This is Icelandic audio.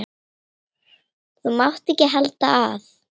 Þú mátt ekki halda að.